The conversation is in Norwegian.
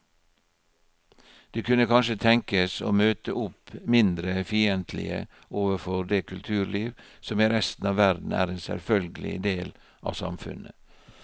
De kunne kanskje tenkes å møte opp mindre fiendtlige overfor det kulturliv som i resten av verden er en selvfølgelig del av samfunnet.